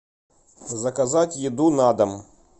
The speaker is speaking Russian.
заказать еду на дом